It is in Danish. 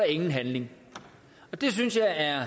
ingen handling det synes jeg er